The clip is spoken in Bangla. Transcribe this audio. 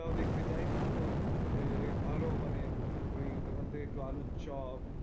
দেখতে যাই না তো এ ভালো মানে ওই দোকান থেকে একটু আলুর চপ